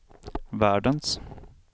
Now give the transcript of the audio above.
världens